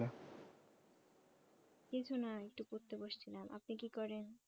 কিছুনা একটু পড়তে বসছিলাম আপনি কি করেন?